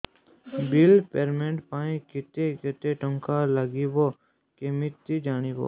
bill payment ପାଇଁ କେତେ କେତେ ଟଙ୍କା ଲାଗିବ କେମିତି ଜାଣିବି